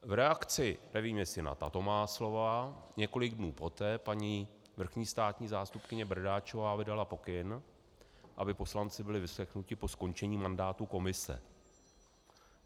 V reakci, nevím, jestli na tato má slova, několik dnů poté paní vrchní státní zástupkyně Bradáčová vydala pokyn, aby poslanci byli vyslechnuti po skončení mandátu komise.